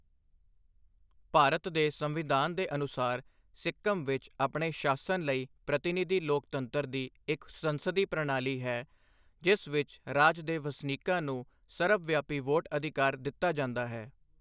ਭਾਰਤ ਦੇ ਸੰਵਿਧਾਨ ਦੇ ਅਨੁਸਾਰ, ਸਿੱਕਮ ਵਿੱਚ ਆਪਣੇ ਸ਼ਾਸਨ ਲਈ ਪ੍ਰਤੀਨਿਧੀ ਲੋਕਤੰਤਰ ਦੀ ਇੱਕ ਸੰਸਦੀ ਪ੍ਰਣਾਲੀ ਹੈ ਜਿਸ ਵਿੱਚ ਰਾਜ ਦੇ ਵਸਨੀਕਾਂ ਨੂੰ ਸਰਬਵਿਆਪੀ ਵੋਟ ਅਧਿਕਾਰ ਦਿੱਤਾ ਜਾਂਦਾ ਹੈ।